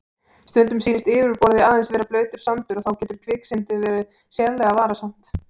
Stundum sýnist yfirborðið aðeins vera blautur sandur og þá getur kviksyndið verið sérlega varasamt.